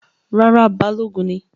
Rárá, Balogun ni